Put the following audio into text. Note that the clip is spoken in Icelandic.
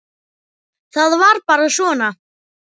Það var bara svona.